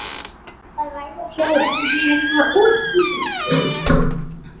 Það verður fróðlegt að heyra hvaða útskýringu